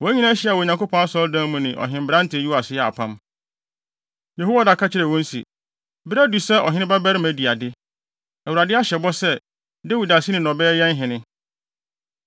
Wɔn nyinaa hyiaa wɔ Onyankopɔn Asɔredan mu ne ɔhenberante Yoas yɛɛ apam. Yehoiada ka kyerɛɛ wɔn se, “Bere adu sɛ ɔhene babarima di ade. Awurade ahyɛ bɔ sɛ, Dawid aseni na ɔbɛyɛ yɛn hene.